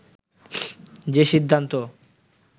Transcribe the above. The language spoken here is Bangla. যে সিদ্ধান্ত